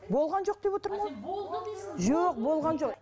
болған жоқ деп отырмын ғой ал сен болды дейсің жоқ болған жоқ